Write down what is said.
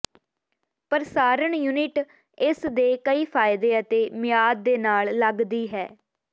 ਪ੍ਰਸਾਰਣ ਯੂਨਿਟ ਇਸ ਦੇ ਕਈ ਫ਼ਾਇਦੇ ਅਤੇ ਮਿਆਦ ਦੇ ਨਾਲ ਲੱਗਦੀ ਹੈ